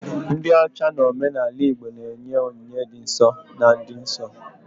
ndị ocha n'omenala Igbo na-enye onyinye dị nsọ na ido nsọ